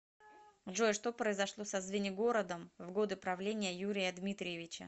джой что произошло со звенигородом в годы правления юрия дмитриевича